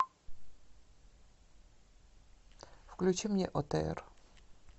включи мне отр